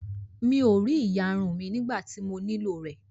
Mi ò rí ìyarun mí nígbà tí mo nílò rẹ̀